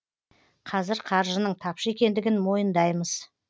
қазір қаржының тапшы екендігін мойындаймыз